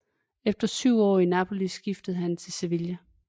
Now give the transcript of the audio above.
Efter syv år i Napoli skiftede han til Sevilla